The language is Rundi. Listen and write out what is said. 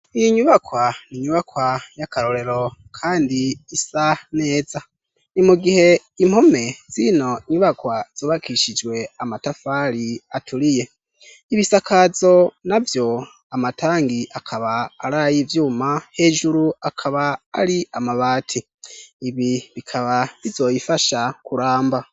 Iyi nyubakwa ni nyubakwa y'akarorero kandi isa neza. Ni mu gihe impome zino nyubakwa zubakishijwe amatafari aturiye ,ibisakazo navyo amatangi akaba araye ivyuma, hejuru akaba ari amabati ,ibi bikaba bizoyifasha kuramba.